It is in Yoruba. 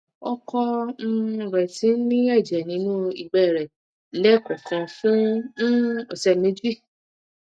ọkọ um rẹ ti ní ẹjẹ nínú ìgbé rẹ lẹẹkọọkan fún um ọsẹ méjì